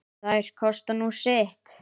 Þær kosta nú sitt.